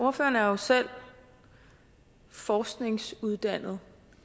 ordføreren er jo selv forskningsuddannet